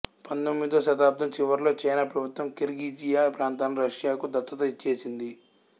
పంధొమ్మిదో శతాబ్దం చివర్లో చైనా ప్రభుత్వం కిర్గిజియా ప్రాంతాలను రష్యాకు దత్తత ఇచ్చేసింది